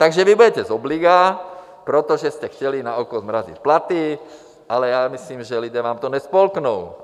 Takže vy budete z obliga, protože jste chtěli naoko zmrazit platy, ale já myslím, že lidé vám to nespolknou.